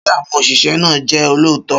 Ṣé àwọn òṣìṣẹ́ náà jẹ́ olóòótọ́?